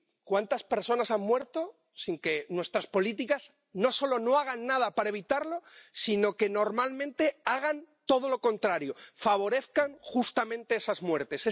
¿Cuántas personas han muerto, sin que nuestras políticas no solo no hagan nada para evitarlo, sino que, normalmente, hagan todo lo contrario, justamente favorezcan esas muertes?